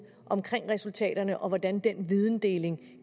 om resultaterne og hvordan den videndeling